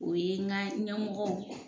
O ye n ga ɲɛmɔgɔw